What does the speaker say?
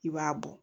I b'a bɔ